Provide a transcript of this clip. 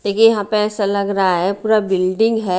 ये यहाँ पे ऐसा लग रहा है पूरा बिल्डिंग है।